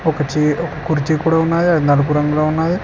ఒక చీర్ కుర్చీ కూడా ఉన్నది అది నలుపు రంగులో ఉన్నది